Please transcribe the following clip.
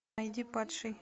найди падший